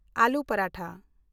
ᱟᱞᱩ ᱯᱟᱨᱟᱴᱷᱟ